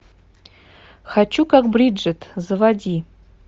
хочу как бриджет заводи